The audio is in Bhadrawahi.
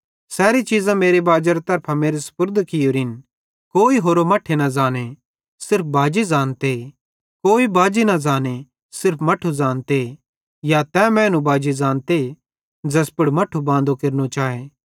सैरी चीज़ां मेरे बाजेरी तरफां मेरे सुपुर्द कियोरिन कोई होरो मट्ठे न ज़ांने सिर्फ बाजी ज़ानते कोई बाजी न ज़ांने सिर्फ मट्ठू ज़ानते या तै मैनू बाजी ज़ानते ज़ैस पुड़ मट्ठू बांदो केरने चाए